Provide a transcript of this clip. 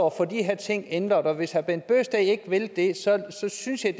at få de her ting ændret og hvis herre bent bøgsted ikke vil det synes